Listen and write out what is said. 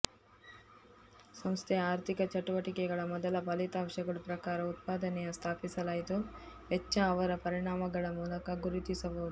ಸಂಸ್ಥೆಯ ಆರ್ಥಿಕ ಚಟುವಟಿಕೆಗಳ ಮೊದಲ ಫಲಿತಾಂಶಗಳು ಪ್ರಕಾರ ಉತ್ಪಾದನೆಯ ಸ್ಥಾಪಿಸಲಾಯಿತು ವೆಚ್ಚ ಅವರ ಪರಿಣಾಮಗಳ ಮೂಲಕ ಗುರುತಿಸಬಹುದು